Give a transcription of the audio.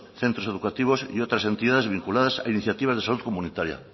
centros educativos y otras entidades vinculadas a iniciativa de salud comunitaria